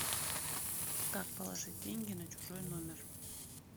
как положить деньги на чужой номер